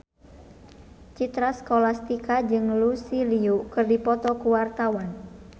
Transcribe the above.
Citra Scholastika jeung Lucy Liu keur dipoto ku wartawan